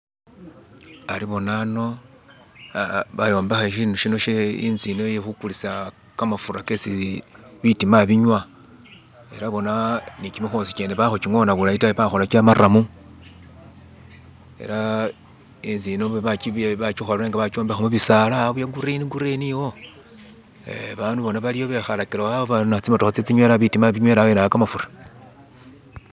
Ari boona ano bayombekha inzu yino iye khukulisa kamafura kesi bitiima binywa, ela boona ne kimikhosi kyene bakhukingona bulayi ta bakhola kye maramu, ela inzu yino bakikhola nga bakyombekha mubisala awo bye green green iwo eh bandu boona bali awo bekhalakile awo tsimotokha tse tsinywela bitiima binywela wene awo kamafura.